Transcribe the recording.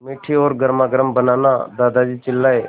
मीठी और गर्मागर्म बनाना दादाजी चिल्लाए